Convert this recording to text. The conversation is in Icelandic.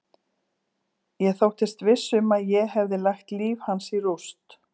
Ég þóttist viss um að ég hefði lagt líf hans í rúst.